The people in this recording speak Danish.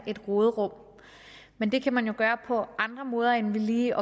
et råderum men det kan man jo gøre på andre måder end ved lige